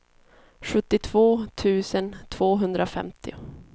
sjuttiotvå tusen tvåhundrafemtio